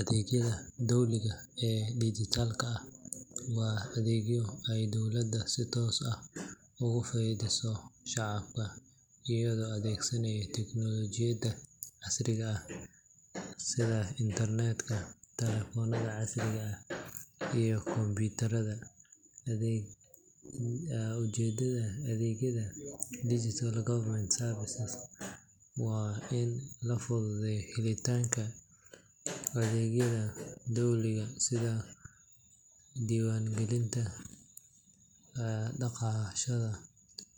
Adeegyada dowliga ee dijitaalka ah waa adeegyo ay dowladda si toos ah ugu fidiso shacabka iyadoo adeegsanaysa teknoolojiyadda casriga ah sida internetka, taleefannada casriga ah iyo kombiyuutarada. Ujeedada adeegyada digital government services waa in la fududeeyo helitaanka adeegyada dowliga sida diiwaangelinta dhalashada,